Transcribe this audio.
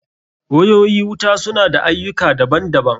Wayoyi wuta su na da ayyuka daban daban.